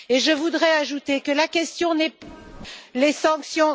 Je voudrais ajouter que la question n'est pas les sanctions...